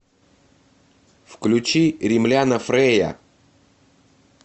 включи римляна фрэя